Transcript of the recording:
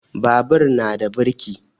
Babur na da birki